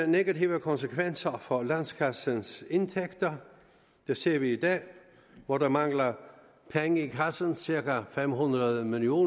negative konsekvenser for landskassens indtægter det ser vi i dag hvor der mangler penge i kassen cirka fem hundrede million